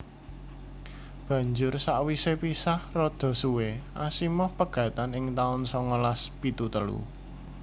Banjur sawisé pisah rada suwé Asimov pegatan ing taun songolas pitu telu